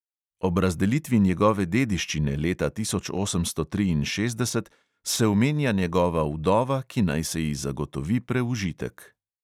Ob razdelitvi njegove dediščine leta osemnajststo triinšestdeset se omenja njegova vdova, ki naj se ji zagotovi preužitek.